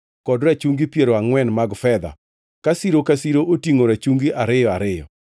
kod rachungi piero angʼwen mag fedha, ka siro ka siro otingʼo rachungi ariyo ariyo.